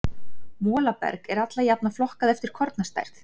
Molaberg er alla jafna flokkað eftir kornastærð.